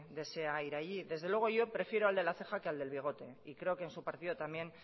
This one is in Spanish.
desea ir allí desde luego yo prefiero al de la ceja que al del bigote y creo que en su partido también